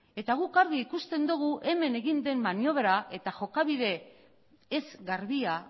eta guk argi ikusten dugu hemen egin den maniobra eta jokabide ez garbia